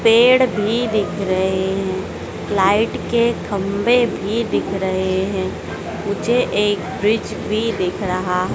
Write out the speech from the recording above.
पेड़ भी दिख रहे हैं लाइट के खंभे भी दिख रहे हैं मुझे एक ब्रिज भी दिख रहा--